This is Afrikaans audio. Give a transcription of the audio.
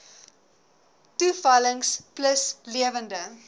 toevallings plus lewende